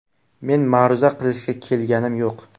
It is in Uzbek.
Men ma’ruza qilishga kelganim yo‘q.